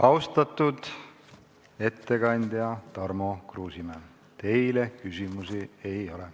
Austatud ettekandja Tarmo Kruusimäe, teile küsimusi ei ole.